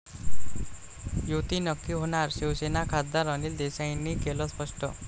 युती नक्की होणार, शिवसेना खासदार अनिल देसाईंनी केलं स्पष्ट